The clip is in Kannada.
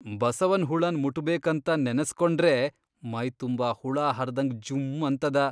ಬಸವನ್ ಹುಳನ್ ಮುಟ್ಬೇಕಂತ ನೆನಸ್ಕೊಂಡ್ರೇ ಮೈತುಂಬಾ ಹುಳಾಹರ್ದ್ಹಂಗ್ ಜುಂ ಅನ್ತದ.